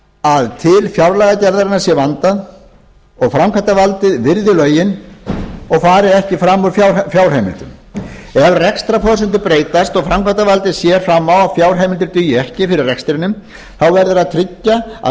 að til fjárlagagerðarinnar sé vandað og framkvæmdarvaldið virði lögin og fari ekki fram úr fjárheimildum ef rekstrarforsendur breytast og framkvæmdarvaldið sér fram á að fjárheimildir dugi ekki fyrir rekstrinum þá verður að tryggja að